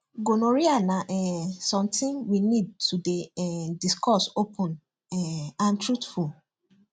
gonorrhea na um something we need to dey um discuss open um and truthful